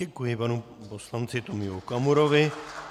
Děkuji panu poslanci Tomiu Okamurovi.